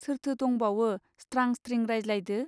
सोरथो दंबावो स्त्रां स्त्रिं रायज्लायदो.